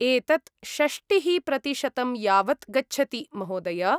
एतत् षष्टिः प्रतिशतं यावत् गच्छति महोदय!